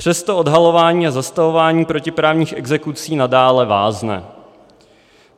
Přesto odhalování a zastavování protiprávních exekucí nadále vázne.